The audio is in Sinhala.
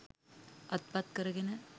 අත්පත් කරගෙන